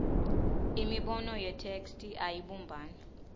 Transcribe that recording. imibono yetheksthi ayibumbani